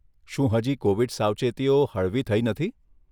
શું હજી કોવિડ સાવચેતીઓ હજી હળવી થઇ નથી?